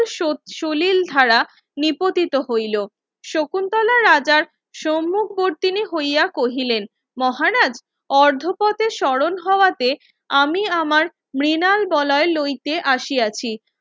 সুলিল ধারা নিপতিত হইলো শকুন্তলা রাজার সম্মুখবর্তিনী হইয়া কহিলেন মহারাজ অর্ধপথে স্মরণ হওয়াতে আমি আমার মৃনাল বলয় লইতে আসিয়াছি